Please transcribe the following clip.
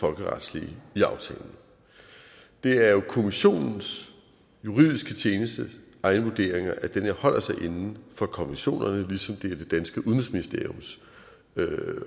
folkeretslige i aftalen det er jo kommissionens juridiske tjenestes egne vurderinger at den her holder sig inden for konventionerne ligesom det er det danske udenrigsministeriums